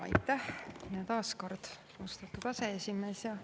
Aitäh taas, austatud aseesimees!